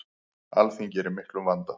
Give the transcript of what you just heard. Alþingi er í miklum vanda.